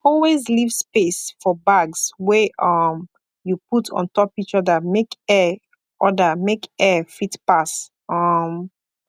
always leave space for bags wey um you put ontop each other make air other make air fit pass um